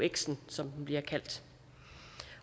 euxen som den bliver kaldt